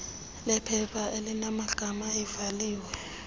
lephepha elinamagama ivaliwe